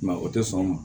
o tɛ sɔn o ma